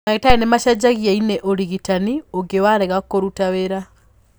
Ndagĩtarĩ nĩmacenjagia ini ũrigitani ũngĩ warega kũruta wĩra.